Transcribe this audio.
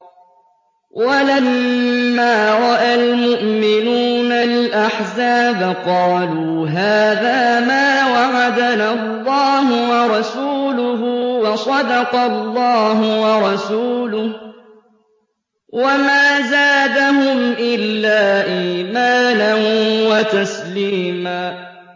وَلَمَّا رَأَى الْمُؤْمِنُونَ الْأَحْزَابَ قَالُوا هَٰذَا مَا وَعَدَنَا اللَّهُ وَرَسُولُهُ وَصَدَقَ اللَّهُ وَرَسُولُهُ ۚ وَمَا زَادَهُمْ إِلَّا إِيمَانًا وَتَسْلِيمًا